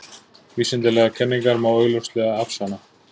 Vísindalegar kenningar má augljóslega afsanna.